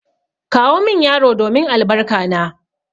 Kawo min yaro domin albarka na!